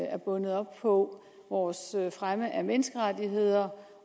er bundet op på vores fremme af menneskerettigheder